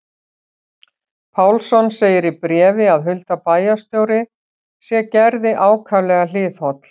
Pálsson segir í bréfi að Hulda bæjarstjóri sé Gerði ákaflega hliðholl.